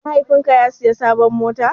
Mahaifin ka ya siya sabon mota?